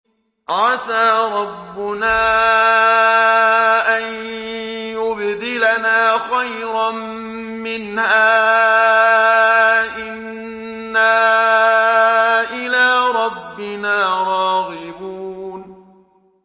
عَسَىٰ رَبُّنَا أَن يُبْدِلَنَا خَيْرًا مِّنْهَا إِنَّا إِلَىٰ رَبِّنَا رَاغِبُونَ